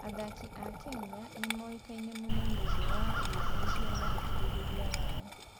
Athaki a Kenya nĩ moĩkaine mũno nĩ ũndũ wa wĩnyihia na ũkirĩrĩria wao.